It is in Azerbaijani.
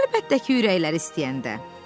Əlbəttə ki, ürəkləri istəyəndə.